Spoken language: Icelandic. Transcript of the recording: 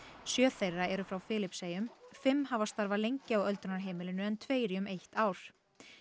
sjö þeirra eru frá Filippseyjum fimm hafa starfað lengi á öldrunarheimilinu en tveir í um eitt ár